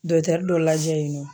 Dɔtɛri dɔ lajɛ yen nɔ